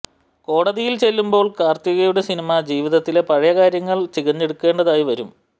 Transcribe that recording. കോടതിയിൽ ചെല്ലുമ്പോൾ കാർത്തികയുടെ സിനിമ ജീവിതത്തിലെ പഴയ കാര്യങ്ങൾ ചികഞ്ഞെടുക്കേണ്ടതായി വരും